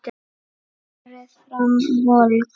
Berið fram volgt.